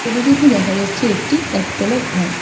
ছবিটিতে দেখা যাচ্ছে একটি একতলা ঘর।